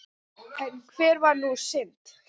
En hver var sú synd?